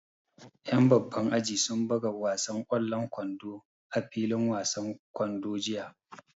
Ƴan babban aji sun buga wasan ƙwallon kwando a filin wasan kwando jiya